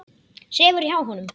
Sefur hjá honum.